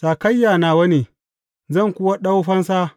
Sakayya nawa ne, zan kuwa ɗau fansa.